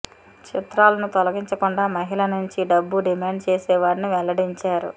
చిత్రాలను తొలగించకుండా మహిళల నుంచి డబ్బు డిమాండ్ చేసేవాడని వెల్లడించారు